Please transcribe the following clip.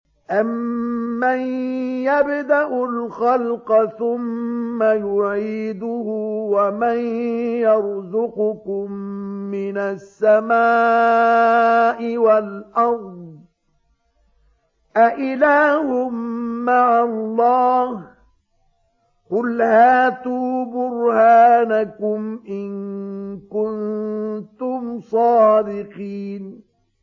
أَمَّن يَبْدَأُ الْخَلْقَ ثُمَّ يُعِيدُهُ وَمَن يَرْزُقُكُم مِّنَ السَّمَاءِ وَالْأَرْضِ ۗ أَإِلَٰهٌ مَّعَ اللَّهِ ۚ قُلْ هَاتُوا بُرْهَانَكُمْ إِن كُنتُمْ صَادِقِينَ